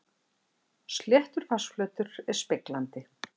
Sléttur vatnsflötur er speglandi.